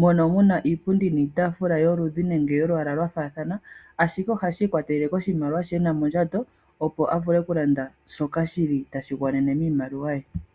mono muna iipundi niitaafula yoludhi nenge yolwaala lwafaathana ashike, ohashi ikwatelela koshimaliwa sho ena mondjato opo avule okulanda shoka shili tashigwanene miimaliwa ye.